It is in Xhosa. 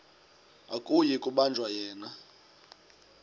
akuyi kubanjwa yena